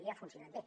i ha funcionat bé